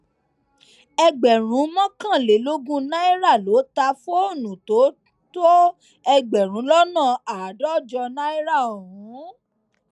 ẹgbẹrún mọkànlélógún náírà ló ta á fóònù tó tó ẹgbẹrún lọnà àádọjọ náírà ọhún